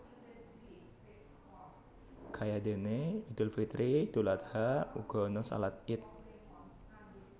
Kayadene Idul Fitri Idul Adha uga ana shalat Ied